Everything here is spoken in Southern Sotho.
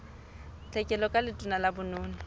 tlhekelo ka letona la bonono